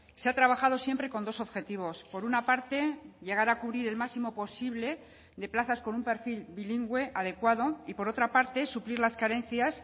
se ha trabajado siempre con dos objetivos por una parte llegar a cubrir el máximo posible de plazas con un perfil bilingüe adecuado y por otra parte suplir las carencias